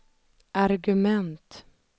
argument